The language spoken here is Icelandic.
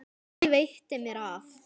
Ekki veitti mér af.